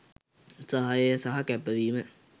සහාය සහ කැපවීම